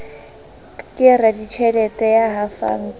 ke raditjhelete ya hafang ka